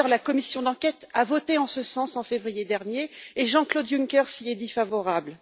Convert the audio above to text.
D'ailleurs, la commission d'enquête a voté en ce sens en février dernier et Jean-Claude Juncker s'y est déclaré favorable.